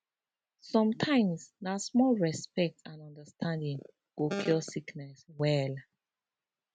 sometimes na small respect and understanding go cure sickness well